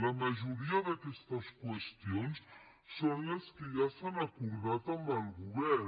la majoria d’aquestes qüestions són les que ja s’han acordat amb el govern